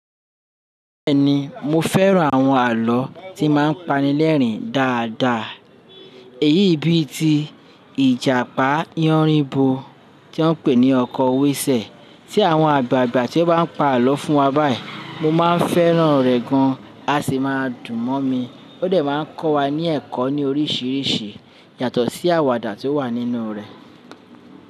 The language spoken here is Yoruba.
Bẹ́ẹ̀ni, mo fẹ́ran àwọn àlọ́ tí máa ń pani lẹ́rìn dáadáa. Èyí bíi ti Ìjàpá yánrinbo tí wọ́n pè ní ọkọ wésẹ̀. Tí àwọn àgbàgbà ti ón bá ń pa àlọ́ fún wa báyìí. Mo máa fẹ́ràn rẹ̀ gan a sì máa dùn mọ́ mi. Ó dẹ̀ máa ń kọ́ wa ní ẹ̀kọ́ ní oríṣiríṣi yàtọ̀ sí àwàdà tí ó wà nínú rẹ̀.